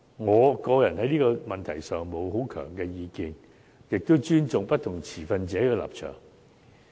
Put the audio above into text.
我個人在這問題上沒並有強烈意見，也尊重不同持份者的立場。